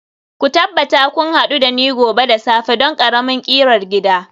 ku tabbata kun hadu da ni gobe da safe don ƙaramin ƙirar gida